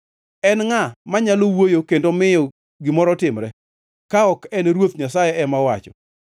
En ngʼa manyalo wuoyo kendo miyo gimoro timre ka ok en Ruoth Nyasaye ema owacho?